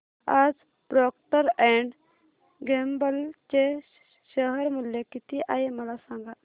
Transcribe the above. आज Procter and Gamble चे share मूल्य किती आहे मला सांगा